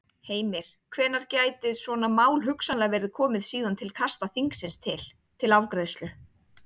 Heimir: Hvenær gæti svona mál hugsanlega verið komið síðan til kasta þingsins til, til afgreiðslu?